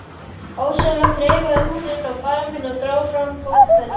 Ósjálfrátt þreifaði hún inn á barminn og dró fram bókfellið.